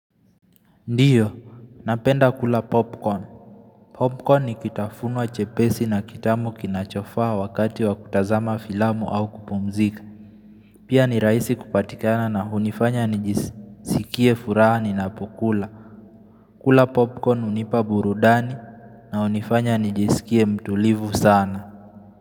Ndiyo, napenda kula popcorn. Popcorn ni kitafunwa chepesi na kitamu kinachofaa wakati wa kutazama filamu au kupumzika. Pia ni raihisi kupatikana na hunifanya nijisikie furaha ninapokula. Kula popcorn unipa burudani na unifanya nijisikie mtulivu sana.